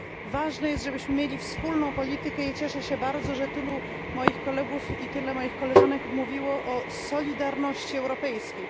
Ważne jest, żebyśmy mieli wspólną politykę i cieszę się bardzo, że tylu moich kolegów i tyle moich koleżanek mówiło o solidarności europejskiej.